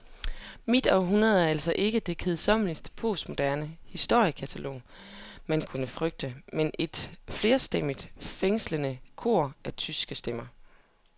Mit århundrede er altså ikke det kedsommelige, postmoderne historiekatalog, man kunne frygte, men et flerstemmigt, fængslende kor af tyske stemmer.